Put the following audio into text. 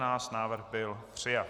Návrh byl přijat.